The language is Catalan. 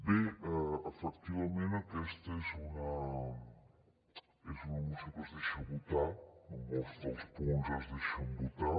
bé efectivament aquesta és una moció que es deixa votar molts dels punts es deixen votar